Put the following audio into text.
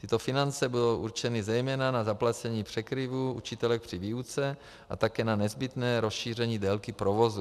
Tyto finance budou určeny zejména na zaplacení překryvů učitelek při výuce a také na nezbytné rozšíření délky provozu.